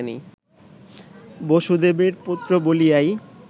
বসুদেবের পুত্র বলিয়াই